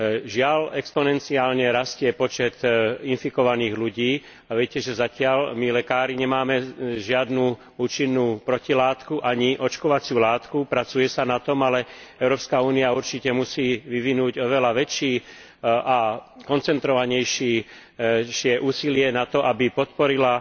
Žiaľ, exponenciálne rastie počet infikovaných ľudí a viete, že zatiaľ my lekári nemáme žiadnu účinnú protilátku, ani očkovaciu látku. Pracuje sa na tom, ale EÚ určite musí vyvinúť oveľa väčšie a koncentrovanejšie úsilie na to, aby podporila